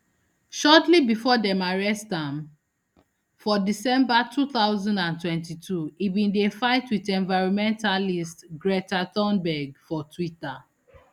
shortly bifor dem arrest am for december two thousand and twenty-two e bin dey fight wit environmentalist greta thunberg for twitter